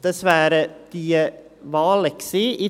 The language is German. So, das wären die Wahlen gewesen.